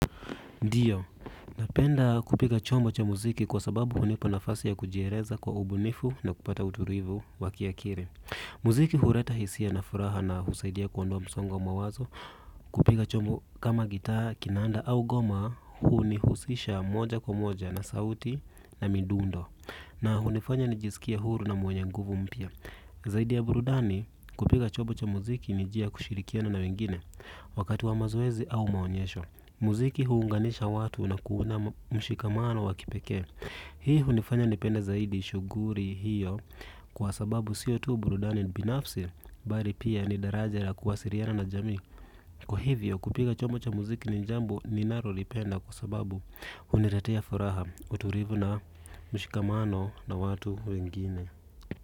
Ndiyo, napenda kupiga chombo cha muziki kwa sababu hunipa nafasi ya kujieleza kwa ubunifu na kupata utulivu wa kiakili. Muziki huleta hisia na furaha na husaidia kuondoa msongo wa mawazo. Kupiga chombo kama gitaa, kinanda au ngoma hunihusisha moja kwa moja na sauti na midundo. Na hunifanya nijisikie huru na mwenye nguvu mpya. Zaidi ya burudani, kupiga chombo cha muziki ni njia ya kushirikiana na wengine wakati wa mazoezi au maonyesho. Muziki huunganisha watu na kuunda mshikamano wa kipekee. Hii hunifanya nipende zaidi shughuli hiyo kwa sababu siyo tu burudani binafsi bali pia ni daraja la kuwasiliana na jamii. Kwa hivyo kupiga chombo cha muziki ni jambo ninalolipenda kwa sababu huniletea furaha utulivu na mshikamano na watu wengine.